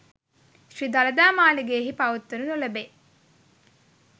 ශ්‍රී දළදා මාළිගයෙහි පවත්වනු නොලැබේ.